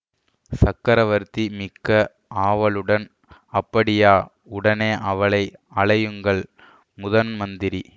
சக்கரவர்த்தி மிக்க ஆவலுடன் அப்படியா உடனே அவளை அழையுங்கள் முதன்மந்திரி